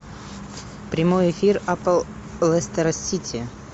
прямой эфир апл лестера сити